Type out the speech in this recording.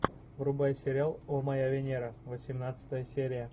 врубай сериал о моя венера восемнадцатая серия